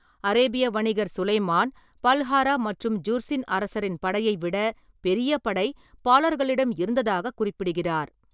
அரேபிய வணிகர் சுலைமான், பல்ஹாரா மற்றும் ஜுர்ஸின் அரசரின் படையைவிட பெரிய படை பாலர்களிடம் இருந்ததாகக் குறிப்பிடுகிறார்.